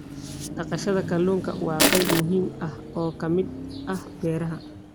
Dhaqashada kalluunka waa qayb muhiim ah oo ka mid ah beeraha.